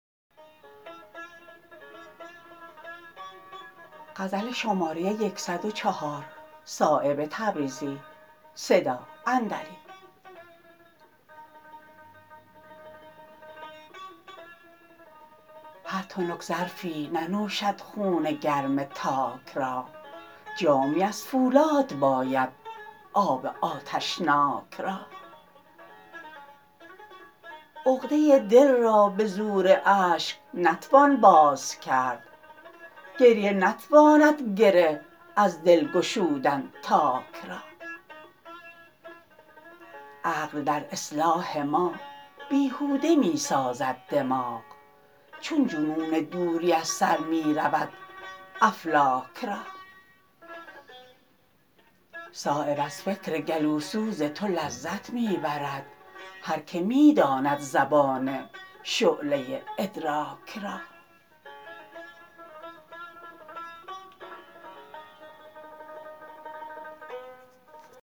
هر تنک ظرفی ننوشد خون گرم تاک را جامی از فولاد باید آب آتشناک را عقده دل را به زور اشک نتوان باز کرد گریه نتواند گره از دل گشودن تاک را عقل در اصلاح ما بیهوده می سازد دماغ چون جنون دوری از سر می رود افلاک را صایب از فکر گلوسوز تو لذت می برد هر که می داند زبان شعله ادراک را